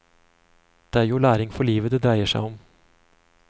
Det er jo læring for livet det dreier seg om.